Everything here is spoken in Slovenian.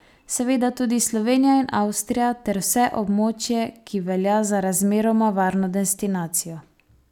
Seveda tudi Slovenija in Avstrija ter vse območje, ki velja za razmeroma varno destinacijo.